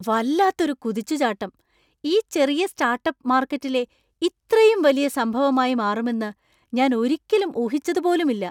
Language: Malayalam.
വല്ലത്തൊരു കുതിച്ചുചാട്ടം ! ഈ ചെറിയ സ്റ്റാർട്ടപ്പ്, മാർക്കറ്റിലെ ഇത്രയും വലിയ സംഭവമായി മാറുമെന്ന് ഞാൻ ഒരിക്കലും ഊഹിച്ചതു പോലുമില്ല .